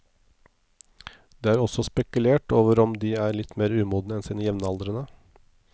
Det er også spekulert over om de er litt mer umodne enn sine jevnaldrende.